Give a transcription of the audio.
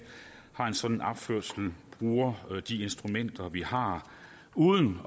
har en sådan opførsel bruger de instrumenter vi har uden